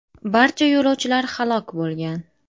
Barcha yo‘lovchilar halok bo‘lgan .